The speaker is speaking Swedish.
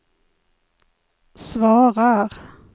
svarar